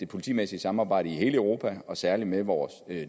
politimæssige samarbejde i hele europa og særlig samarbejdet med vore